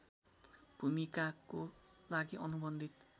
भूमिकाको लागि अनुबन्धित